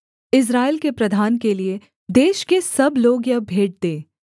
इस्राएल के प्रधान के लिये देश के सब लोग यह भेंट दें